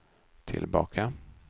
tillbaka